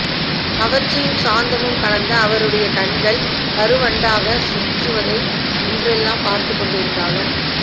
கவர்ச்சியும் சாந்தமும் கலந்த அவருடைய கண்கள் கருவண்டாகச் சுற்றுவதை இன்றெல்லாம் பார்த்துக் கொண்டிருந்தாலும்